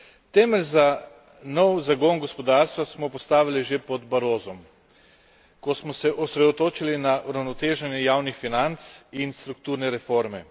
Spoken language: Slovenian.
Temelj za nov zagon gospodarstva smo postavili že pod Barrosom, ko smo se osredotočili na uravnoteženje javnih financ in strukturne reforme.